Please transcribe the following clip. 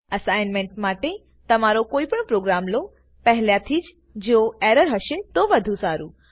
assignment માટે તમારો કોઈ પણ પ્રોગ્રામ લોપહેલા થી જો એરર હશે તો વધુ સારું